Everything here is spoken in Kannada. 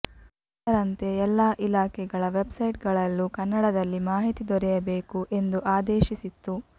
ಅದರಂತೆ ಎಲ್ಲಾ ಇಲಾಖೆಗಳ ವೆಬ್ ಸೈಟ್ ಗಳಲ್ಲೂ ಕನ್ನಡದಲ್ಲಿ ಮಾಹಿತಿ ದೊರೆಯಬೇಕು ಎಂದು ಆದೇಶಿಸಿತ್ತು